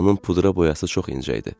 Onun pudra boyası çox incə idi.